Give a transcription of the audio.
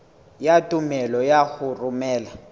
ya tumello ya ho romela